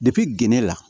gende la